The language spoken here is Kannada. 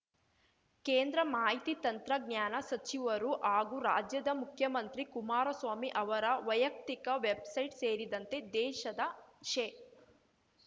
ಕೇಂದ್ರ ಮಾಹಿತಿ ತಂತ್ರಜ್ಞಾನ ಸಚಿವರು ಹಾಗೂ ರಾಜ್ಯದ ಮುಖ್ಯಮಂತ್ರಿ ಕುಮಾರಸ್ವಾಮಿ ಅವರ ವೈಯಕ್ತಿಕ ವೆಬ್‌ಸೈಟ್ ಸೇರಿದಂತೆ ದೇಶದ ಶೇ